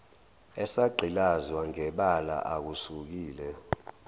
esagqilazwa ngebala akusukile